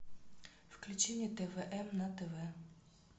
включи мне тв м на тв